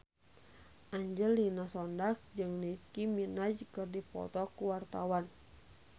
Angelina Sondakh jeung Nicky Minaj keur dipoto ku wartawan